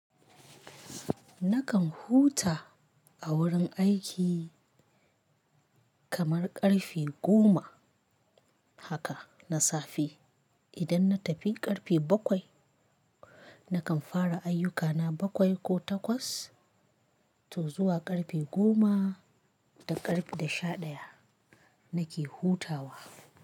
Nakan huta a wurin aiki kamar ƙarfe goma haka na safe. Idan na tafi ƙarfe bakwai, nakan fara ayyukana bakwai ko takwas to zuwa ƙarfe goma da ƙarfe sha ɗaya nake hutawa.